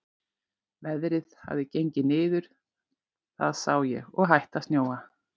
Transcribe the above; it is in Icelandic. Veðrið hafði gengið niður, það sá ég, og hætt að snjóa.